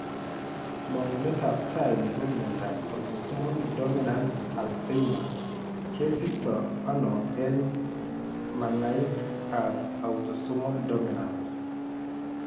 Mang'unet ab taai nebo miondab autosomal dominant Alzheimerkesiktoono eng' mannait ab autosomal dominant